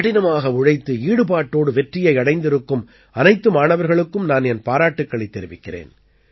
கடினமாக உழைத்து ஈடுபாட்டோடு வெற்றியை அடைந்திருக்கும் அனைத்து மாணவர்களுக்கும் நான் என் பாராட்டுக்களைத் தெரிவிக்கிறேன்